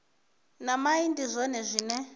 na mai ndi zwone zwine